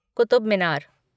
Qutub Minar